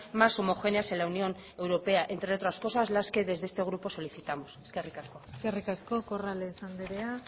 más homogéneas en la unión europea entre otras cosas las que desde este grupo solicitamos eskerrik asko eskerrik asko corrales andrea